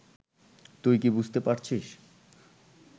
তুই কি বুঝতে পারছিস